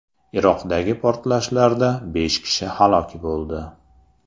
Iroqdagi portlashlarda besh kishi halok bo‘ldi.